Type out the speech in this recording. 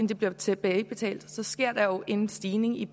der bliver tilbagebetalt så sker der jo en stigning i